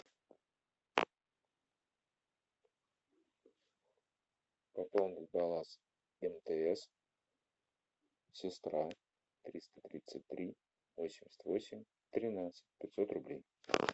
пополнить баланс мтс сестра триста тридцать три восемьдесят восемь тринадцать пятьсот рублей